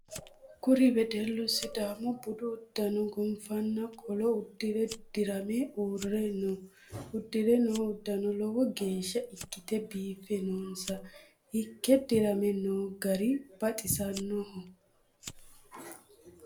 Kuri wedelu sidaamu budu udano gonfanna qolo udire dirame uure no. Udire noo udano lowo geesha ikite biife noossa. Ike dirame noo gari baxisanoho.